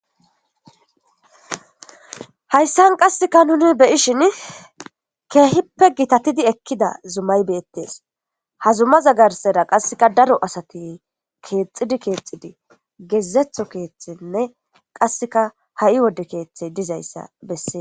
Hayssan qasseka nuni beyishin keehippe gitatidi ekkida zumay beettes ha zuma zagarsera qasseka daro asati keexxidi keexxidi geezetho keeththenne qasseka ha7i wodde keeththey dizayssa bessees.